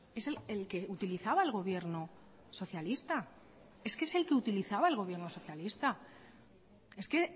es el que utilizaba el gobierno socialista es que